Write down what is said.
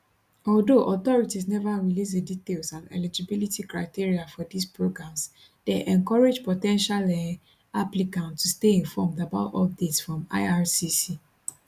although authorities neva release di details and eligibility criteria for dis programs dem encourage po ten tial um applicants to stay informed about updates from ircc